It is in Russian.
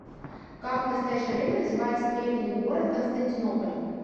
как в настоящее время называется древний город константинополь